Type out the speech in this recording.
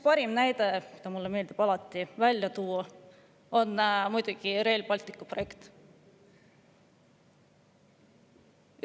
Parim näide, mida mulle meeldib tuua, on muidugi Rail Balticu projekt.